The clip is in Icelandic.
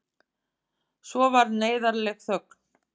Svo varð neyðarleg þögn.